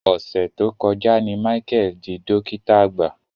Ọ̀sẹ̀ tó kọjá ni Michael dí dọ́kìtà àgbà.